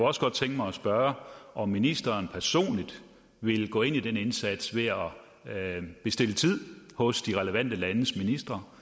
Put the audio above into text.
også godt tænke mig at spørge om ministeren personligt vil gå ind i den indsats ved at bestille tid hos de relevante landes ministre